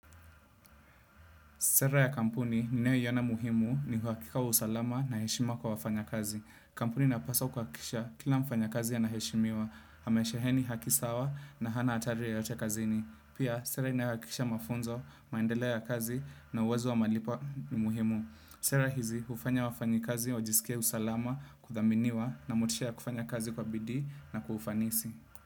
Sera ya kampuni, ninayoiona muhimu ni uhakika wa usalama na heshima kwa wafanyakazi. Kampuni inapaswa kuhakisha, kila mfanyakazi anaheshimiwa, amesheheni haki sawa na hana hatari yoyote kazini. Pia, sera inayohakikisha mafunzo, maendeleo ya kazi na uwezo wa malipo ni muhimu. Sera hizi, hufanya wafanyikazi, wajisikie usalama, kuthaminiwa na motisha ya kufanya kazi kwa bidii na kwa ufanisi.